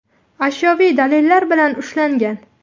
ashyoviy dalillar bilan ushlangan.